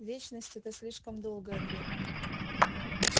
вечность это слишком долгое время